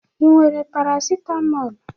Ị nwere Parasitamọl?